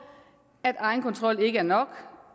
at egenkontrol ikke er nok